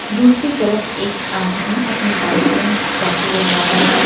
दूसरी तरफ एक आदमी अपनी बाइक में पेट्रोल डलवा रहा है।